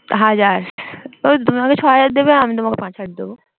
হাজার তুমি আমাকে ছয় হাজার দেবে আমি তোমাকে পাঁচ হাজার দেব